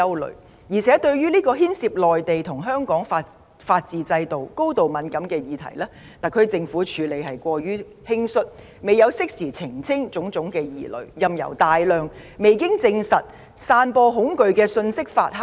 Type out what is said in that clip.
另一方面，對於這個牽涉內地與香港法治制度、高度敏感的議題，特區政府的處理過於輕率，未有適時澄清種種疑慮，任由大量未經證實、散播恐懼的信息發酵。